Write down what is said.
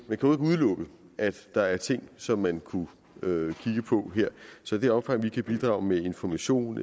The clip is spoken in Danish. jo ikke udelukkes at der er ting som man kunne kigge på her så i det omfang vi kan bidrage med information